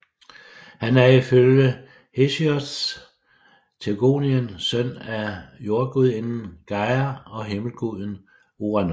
Han er ifølge Hesiods Theogonien søn af jordgudinden Gaia og himmelguden Uranos